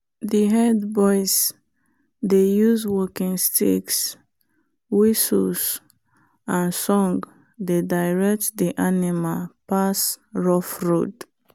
the herd boys dey use walking sticks whistles and song dey direct the animal pass rough road.